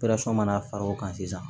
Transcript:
mana far'o kan sisan